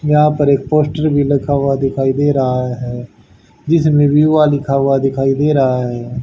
यहां पर एक पोस्टर भी लगा हुआ दिखाई दे रहा है जिसमें विवा लिखा हुआ दिखाई दे रहा है।